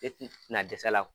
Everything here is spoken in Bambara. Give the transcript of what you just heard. Depi i tɛ na dɛsɛ a la